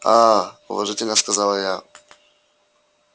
аа уважительно сказала я